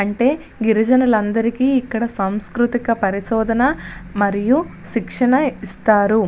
అంటే గిరిజనుల అందరికీ ఇక్కడ సంస్కృతిక పరిశోధన మరియు శిక్షణ ఇస్తారు.